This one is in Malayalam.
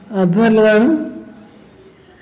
അത് നല്ലതാണ്